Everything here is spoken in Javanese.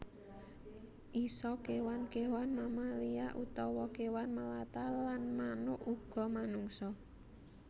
Isa kéwan kéwan mamalia utawa kéwan melata lan manuk uga manungsa